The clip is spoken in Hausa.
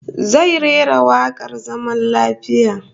Zai rera wakar zaman lafiya